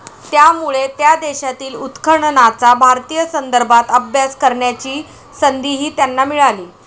त्यामुळे त्या देशातील उत्खननाचा भारतीय संदर्भात अभ्यास करण्याची संधीही त्यांना मिळाली.